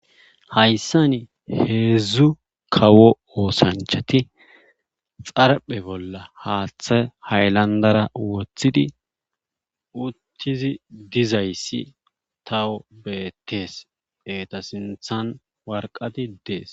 Hayssan heedzdzu kawo osanchati xarphe haaththa haylandera wooththidi uttidi dizayssi tawu beetees. eeta sinththa waraqati dees.